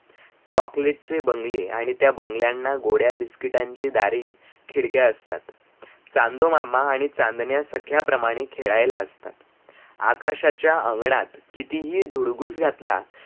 chocolate चे बंगले आणी त्या बंगल्याना गोड्या बिस्किटांचे दारे खिडक्या असतात, चांदोमामा आणी चांदण्या सख्याप्रमाणे खेड़ायाला असतात, आकाशाच्या अंगणात कितीहि धुडघूस घातला